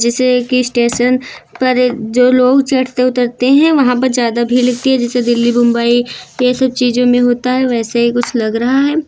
जिसे एक स्टेशन पर एक जो लोग चढ़ते उतरते हैं वहां पर ज्यादा भीड़ लगती है जैसे दिल्ली बुम्बई ये सब चीजों में होता है वैसे ही कुछ लग रहा है।